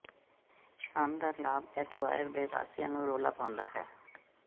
ਸ਼ਾਨਦਾਰ ਲਾਭ ਐਕੁਆਇਰ ਦੇ ਵਾਸੀਆਂ ਨੂੰ ਰੌਲਾ ਪਾਉਂਦਾ ਹੈ